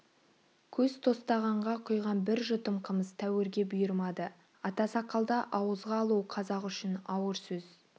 көз тостағанға құйған бір жұтым қымыз тәуірге бұйырмады ата сақалды ауызға алу қазақ үшін ауыр сөз